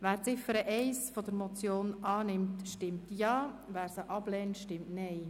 Wer die Ziffer 1 der Motion annimmt, stimmt Ja, wer diese ablehnt, stimmt Nein.